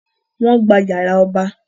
Wọ́n gba yàrá ọba